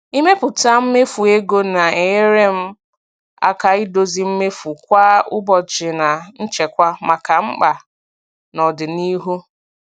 Ịmepụta mmefu ego na-enyere m aka idozi mmefu kwa ụbọchị na nchekwa maka mkpa n'ọdịnihu.